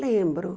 Lembro.